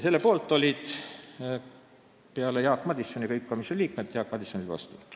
Selle poolt olid kõik komisjoni liikmed, välja arvatud Jaak Madison, kes oli vastu.